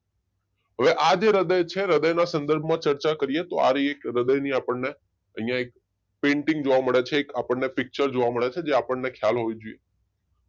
હવે આ જે હૃદય છે હૃદયના સંદર્ભમાં ચર્ચા કરીએ તો આ રહી એક હૃદયની આપણને અહિયાં એક પેન્ટિંગ જોવા મળે છે એક આપણને પિક્ચર જોવા મળે છે જે આપણે ખયાલ હોવો જોઈએ